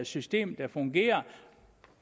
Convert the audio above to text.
system der fungerer